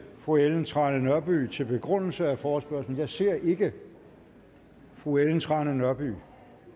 fru ellen trane nørby til begrundelse af forespørgslen men jeg ser ikke fru ellen trane nørby